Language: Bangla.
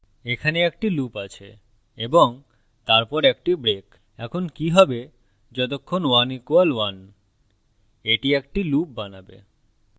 এখানে একটি loop আছে এবং তারপর একটি break এখন কি হবে যতক্ষণ 1 = 1 এটি একটি loop বানাবে